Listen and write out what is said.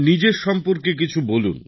নিজের সম্পর্কে কিছু বলুন